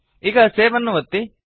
ಈಗ ಸೇವ್ ಅನ್ನು ಒತ್ತಿ